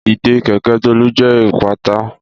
Ìdè kèkẹ̀ Tolu jẹ ipata.